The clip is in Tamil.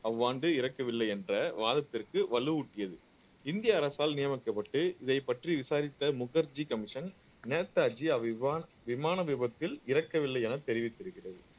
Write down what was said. அவ்வாண்டு இறக்கவில்லை என்ற வாதத்திற்கு வலுவூட்டியது இந்திய அரசால் நியமிக்கப்பட்டு இதைப் பற்றி விசாரித்த முகர்ஜி கமிஷன் நேதாஜி அவ்விவான் விமான விபத்தில் இறக்கவில்லை என தெரிவித்திருக்கிறது